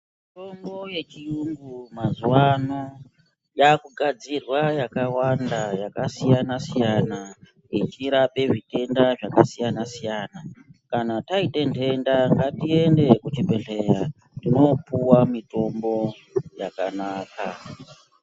Mitombo yechiyungu mazuwano yakugadzirwa yakawanda yakasiyana siyana yechirape zvitenda zvakasiyana siyana. Kana taita ntenda ngatiende kuchibhehleya tinopuwa mitombo yakanaka.